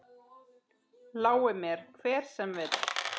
Lái mér, hver sem vill.